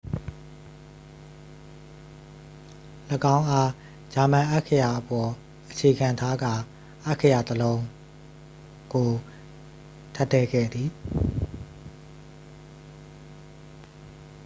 "၎င်းအား ဂျာမန် အက္ခရာအပေါ် အခြေခံထားကာ အက္ခရာ တစ် လုံး "õ/õ" ကို ထပ်ထည့်ခဲ့သည်။